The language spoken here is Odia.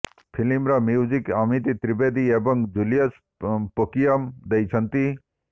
ଫିଲ୍ମର ମ୍ୟୁଜିକ୍ ଅମିତ୍ ତ୍ରୀଦେବୀ ଏବଂ ଜୁଲିୟସ୍ ପୋକିଅମ୍ ଦେଇଛନ୍ତି